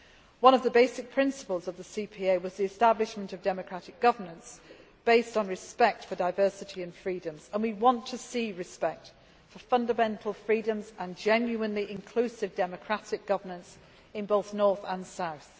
One of the basic principles of the Comprehensive Peace Agreement was the establishment of democratic governance based on respect for diversity and freedoms, and we want to see respect for fundamental freedoms and genuinely inclusive democratic governance in both North and South.